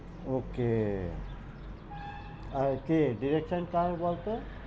Okay আর কে director কার বলতো?